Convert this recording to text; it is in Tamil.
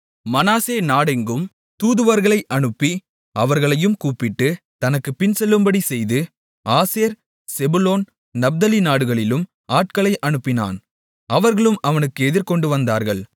மனாசே நாடெங்கும் தூதுவர்களை அனுப்பி அவர்களையும் கூப்பிட்டு தனக்குப் பின்செல்லும்படி செய்து ஆசேர் செபுலோன் நப்தலி நாடுகளிலும் ஆட்களை அனுப்பினான் அவர்களும் அவனுக்கு எதிர்கொண்டு வந்தார்கள்